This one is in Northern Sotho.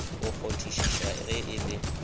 go kgonthišiša ge e le